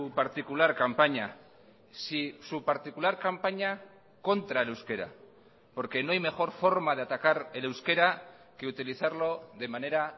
particular campaña sí su particular campaña contra el euskera porque no hay mejor forma de atacar el euskera que utilizarlo de manera